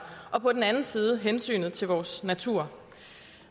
og på den anden side hensynet til vores natur